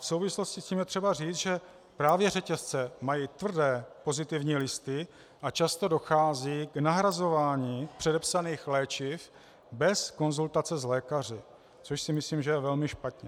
V souvislosti s tím je třeba říct, že právě řetězce mají tvrdé pozitivní listy a často dochází k nahrazování předepsaných léčiv bez konzultace s lékaři, což si myslím, že je velmi špatně.